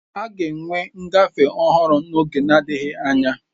A ga-enwe ngafe ọhụrụ n'oge adịghị anya.